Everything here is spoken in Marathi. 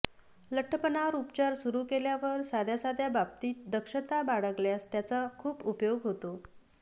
लठ्ठपणावर उपचार सुरू केल्यावर साध्या साध्या बाबतीत दक्षता बाळगल्यास त्याचा खूप उपयोग होतो